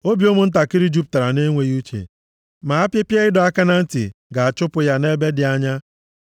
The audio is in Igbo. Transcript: Obi ụmụntakịrị jupụtara nʼenweghị uche, ma apịpịa ịdọ aka na ntị ga-achụpụ ya nʼebe dị anya.